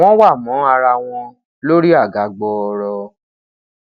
wọn wa mọ ara wọn lori aga gbọọrọ